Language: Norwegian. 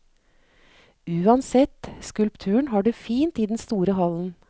Uansett, skulpturen har det fint i den store hallen.